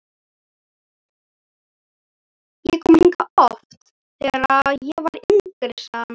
Ég kom hingað oft, þegar ég var yngri sagði hann.